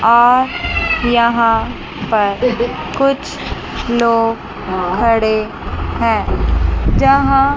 और यहां पर कुछ लोग खड़े है जहां--